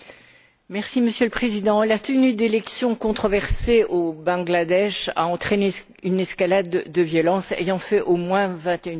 Monsieur le Président, la tenue d'élections controversées au Bangladesh a entraîné une escalade de violence ayant fait au moins 21 victimes.